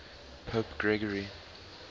pope gregory